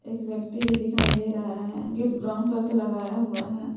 एक व्यक्ति भी दिखाई दे रहा है गेट ब्राउन कलर का लगाया हुआ है।